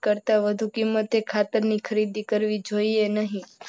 કરતા વધુ કિંમતે ખાતરની ખરીદી કરવી જોઈએ નહીં.